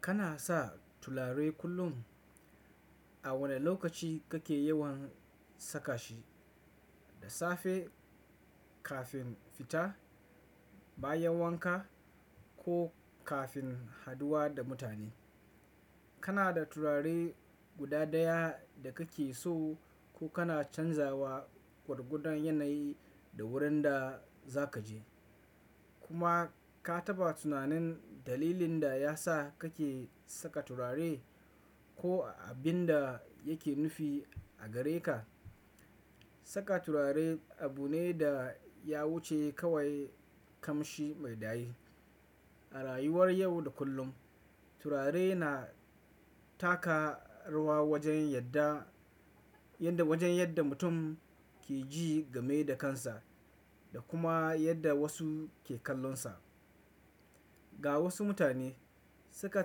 Kana sa turare kullum? A wane lokaci kake yawan saka shi? Da safe kafin fita, bayan wanka ko kafin haduwa da mutane? Kana da turare guda ɗaya da kake so ko kana canzawa gwargwadon yanayi da wurin da zaka je? Kuma ka taba tunanin dalilin da yasa kake saka turare ko abin da yake nufi a gare ka? Saka turare abu ne da ya wuce kawai kamshi mai daɗi. A rayuwar yau da kullum, turare na taka rawa wajen yadda, wajen yadda mutum ke ji game da kansa da kuma yadda wasu ke kallonsa. Ga wasu mutane, saka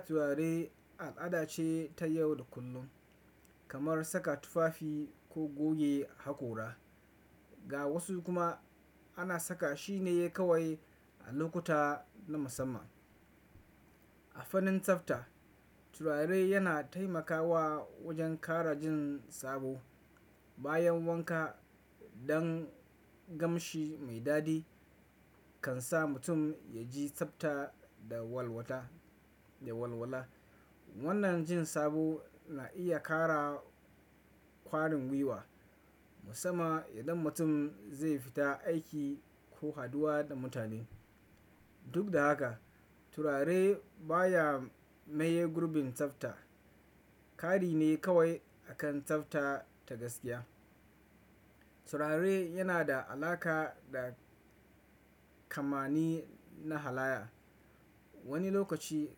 turare al'ada ce ta yau da kullum kamar saka tufafi ko goge hakora. Ga wasu kuma ana saka shi ne kawai a lokuta na musamman. A fannin tsafta, turare yana taimakawa wajen ƙara jin sabo bayan wanka don kamshi mai daɗi. Kan sa mutum ya ji tsafta da walwata, da walwala. Wannan jin sabo na iya ƙara kwarin gwiwa musamman idan mutum zai fita aiki ko haduwa da mutane. Duk da haka, turare baya maye gurbin tsafta. Kari ne kawai akan tsafta ta gaskiya. Turare yana da alaƙa da kamani na halaya. Wani lokaci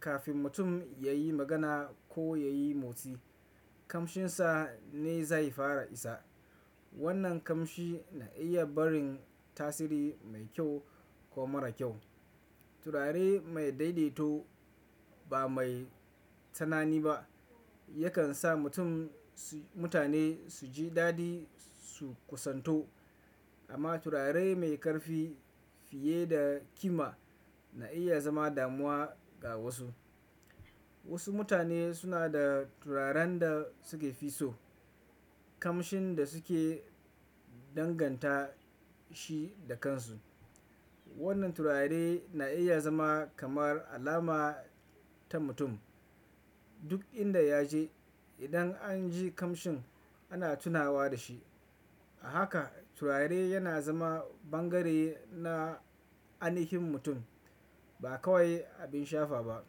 kafin mutum ya yi magana ko ya yi motsi, kamshinsa ne zai fara isa. Wannan kamshi na iya barin tasiri mai kyau ko mara kyau. Turare mai daidaito ba mai tunani ba yakan sa mutane su ji daɗi su kusanto. Amma turare mai ƙarfi fiye da kima na iya zama damuwa ga wasu. Wasu mutane suna da turaren da suke fi so, kamshin da suke danganta shi da kansu. Wannan turare na iya zama kamar alama ta mutum. Duk inda ya je, idan an ji kamshin ana tunawa da shi. A haka turare yana zama bangare na ainihin mutum ba kawai abin shafa ba.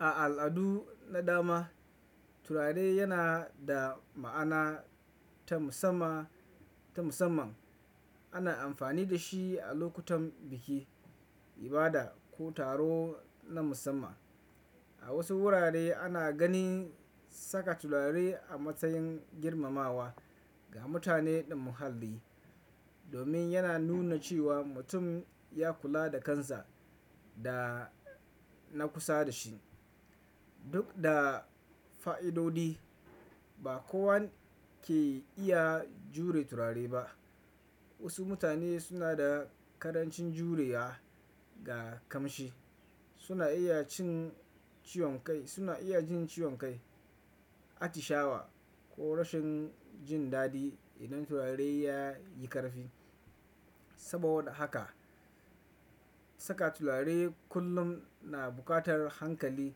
A al'adu na dama turare yana da ma'ana ta musamman. Ana amfani da shi a lokutan biki, ibada ko taro na musamman. A wasu wurare ana ganin saka turare a matsayin girmamawa ga mutane ɗan muhalli domin yana nuna cewa mutum ya kula da kansa da na kusa da shi. Duk da fa'idodi, ba kowan ke iya jure turare ba. Wasu mutane suna da karancin jurewa ga kamshi. Suna iya jin ciwon kai, atishawa ko rashin jin daɗi idan turare ya yi ƙarfi. Saboda haka saka turare kullum na buƙatar hankali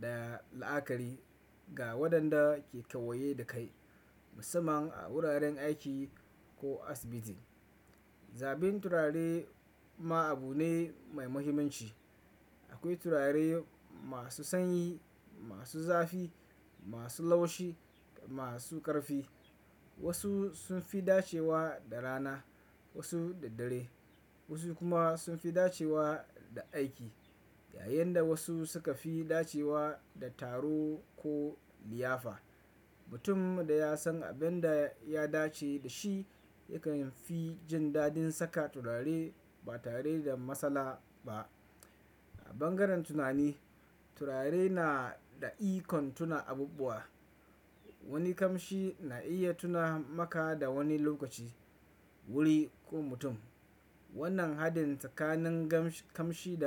da la'akari ga waɗanda ke kewaye da kai musamman a wuraren aiki ko asibiti. Zabin turare ma abu ne mai muhimmanci. Akwai turare masu sanyi, masu zafi, masu laushi, masu ƙarfi. Wasu sun fi dacewa da rana, wasu da dare. Wasu kuma sun fi dacewa da aiki yayin da wasu suka fi dacewa da taro ko liyafa. Mutum da ya san abin da ya dace da shi yakan fi jin daɗin saka turare ba tare da matsala ba. A bangaren tunani, turare na da ikon tuna abubuwa. Wani kamshi na iya tuna maka da wani lokaci, wuri ko mutum. Wannan hadin tsakanin kamshi da.